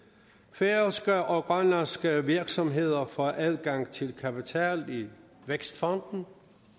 færøske og grønlandske virksomheder får adgang til kapital i vækstfonden